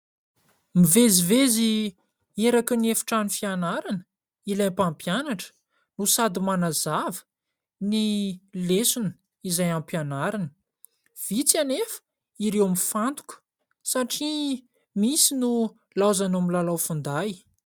Mivezivezy eraky ny efitrano fianarana ilay mpampianatra no sady manazava ny lesona, izay am-pianarana. Vitsy anefa ireo mifantoka satria misy no hilaozany milalao finday.